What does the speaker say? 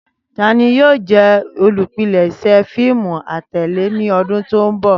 Tani yoo jẹ olupilẹṣẹ fiimu atẹle ni ọdun to nbọ?